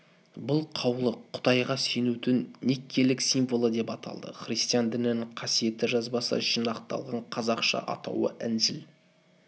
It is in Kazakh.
бұл қаулы құдайға сенудің никкейлік символы деп аталды христиан дінінің қасиетті жазбасы жинақталған қазақша атауы інжіл